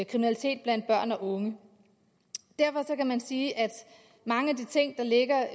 kriminalitet blandt børn og unge derfor kan man sige at mange af de ting der ligger